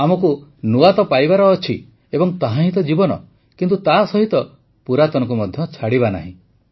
ଆମକୁ ନୂଆ ତ ପାଇବାର ଅଛି ଏବଂ ତାହାହିଁ ତ ଜୀବନ କିନ୍ତୁ ତାସହିତ ପୁରାତନକୁ ମଧ୍ୟ ଛାଡ଼ିବା ନାହିଁ